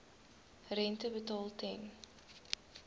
rente betaal ten